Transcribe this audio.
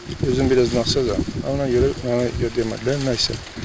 Yəni özüm biraz naxazam, ona görə mənə demədilər, nə isə.